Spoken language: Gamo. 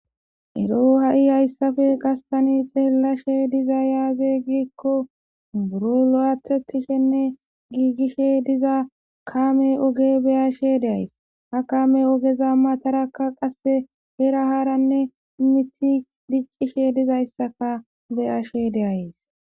Eroo ha7i hayssafee thaani xeellashee dizay aazee giikko murungathe thokkishenne giigishe diza kaamee ogee be7ashee de7ays; ha kaamee ogeza mathaarakka qassi heera haaranne miththi diccisheezidizayssakka be7ashee de7ays.